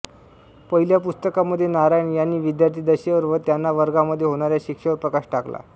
पहिल्या पुस्तकामध्ये नारायण यांनी विद्यार्थीदशेवर व त्यांना वर्गामध्ये होणाऱ्या शिक्षेवर प्रकाश टाकला